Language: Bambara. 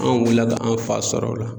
An wulila ka an fa sɔrɔ o la